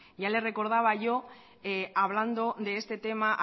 ya les recordaba yo hablando de este tema